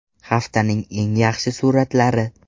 Haftaning eng yaxshi suratlari.